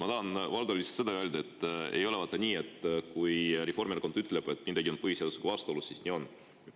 Ma tahan, Valdo, lihtsalt seda öelda, et vaata, ei ole nii, et kui Reformierakond ütleb, et midagi on põhiseadusega vastuolus, siis nii on.